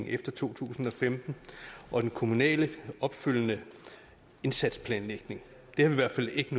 efter to tusind og femten og den kommunale opfølgende indsatsplanlægning vi har i hvert fald ikke